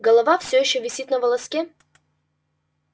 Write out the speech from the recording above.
голова все ещё висит на волоске